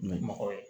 N ye mɔgɔ ye